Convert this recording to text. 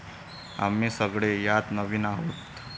आम्ही सगळे यात नवीन आहोत.